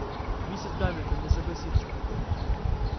миссис гамильтон не согласится